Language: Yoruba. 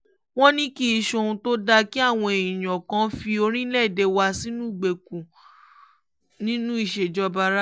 wọ́n ní kì í ṣohun tó dáa kí àwọn èèyàn kàn fi orílẹ̀-èdè wa sínú ìgbèkùn nínú ìṣèjọba rárá